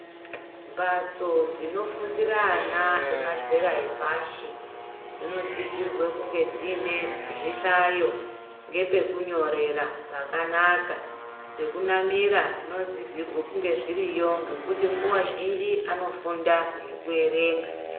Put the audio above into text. Mbatso dzinofundira ana emazera epashi dzinosisirwe kunge dziinezvihlayo ngepekunyorera pakanaka zvekunamira zvinosisa kunge zviriyo ngekuti nguwa zhinji anofunda ngekuerenga .